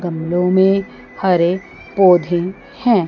गमलो में हरे पौधे हैं।